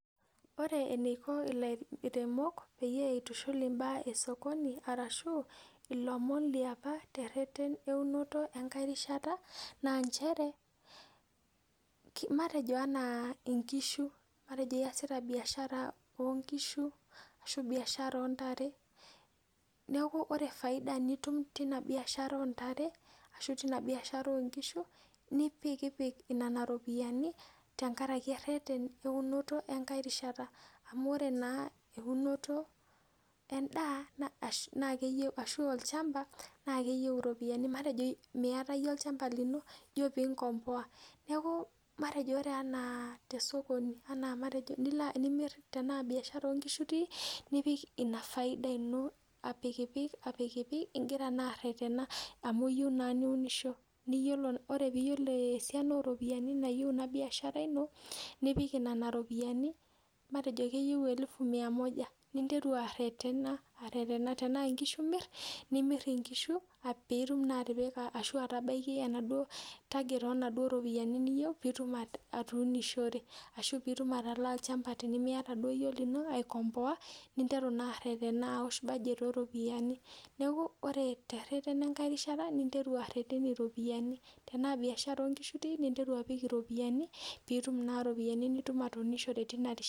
Ore eneiko ilairemok peyie itushul imbaak e sokoni arashu ilomon liopa terreten eunoto enkae rishata naa nchere, matejo anaa inkishu. Matejo iyasita biashara oo nkishu ashu biashara oo ntare. Neeku ore faida nitum teina biashara oo ntare ashu tina biashara oo nkishu, nipik inena ropiyiani tenkaraki erreten enkae rishata. Amu ore naa eunoto endaa na keyieu, ashu olchamba naa keyieu iropiyiani. Matejo miata iyie olchamba lino, ijo piinkomboa. Neeku matejo ena te sokoni matejo enaa biashara oo nkishu itii, nipik ina faida ino apikipik, apikipik igira naa arretena amu iyieu naa niunisho. Ore piiyiolo esiana ooropiyiani naayeu ina biashara ino, nipik nena ropiyiani matejo keyie elfu Mia moja. Niteru arretena, arretena. Tenaa inkishu imirr, nimirr inkishu piitum naa atipika ashu atabaiki enaduo target oo naduo ropiyiani niyieu piitum atuunishore ashu piitum atalaa olchamba tenemiata duo iyie olino aikomboa ninteru naa arretena aosh budget oo ropiyiani. Neeku ore terreten enkae rishata ninteru arreten iropiyiani. Tenaa biashara oo nkishu itii ninteru apik iropiyiani piitum naa iropiyiani nitum atuunishore tina rishata